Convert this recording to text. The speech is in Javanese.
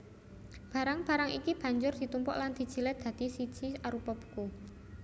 Barang barang iki banjur ditumpuk lan dijilid dadi siji arupa buku